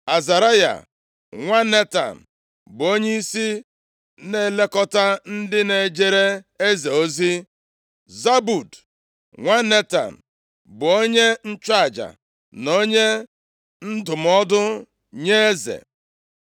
Azaraya nwa Netan bụ onyeisi na-elekọta ndị na-ejere eze ozi. Zabud nwa Netan bụ onye nchụaja na onye ndụmọdụ nye eze.